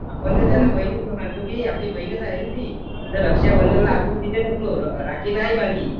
आपण तिला बहीणच मानतो ना आपली बहीणच आहे ना ती. तर रक्षाबंधनाला आपण तिथे नसलो राखी नाही बांधली.